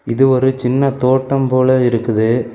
இது ஒரு சின்ன தோட்டம் போல இருக்குது.